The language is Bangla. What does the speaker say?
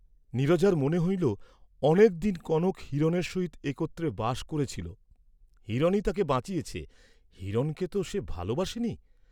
নীরজার মনে হইল অনেক দিন কনক হিরণের সহিত একত্রে বাস করেছিল, হিরণই তাকে বাঁচিয়েছে; হিরণকে তো সে ভালবাসে নি?